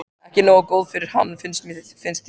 Ekki nógu góð fyrir hann, finnst þér.